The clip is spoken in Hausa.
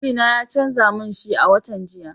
Mijina ya canza min shi a watan jiya.